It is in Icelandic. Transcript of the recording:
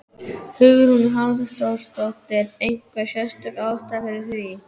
Hugrún Halldórsdóttir: Einhver sérstök ástæða fyrir því?